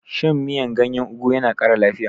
Shan miyan gyanyen ogu yana kara lafiya